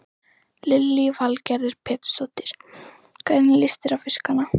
Lillý Valgerður Pétursdóttir: Hvernig líst þér á fiskana?